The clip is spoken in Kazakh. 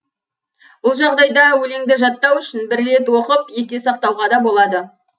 бұл жағдайда өлеңді жаттау үшін бір рет оқып есте сақтауға да болады